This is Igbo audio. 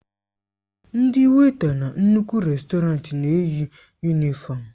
Ndị wèịta na nnukwu rèstọrantị na-eyi yunịfọmu.